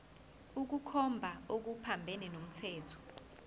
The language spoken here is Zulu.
ukukhomba okuphambene nomthetho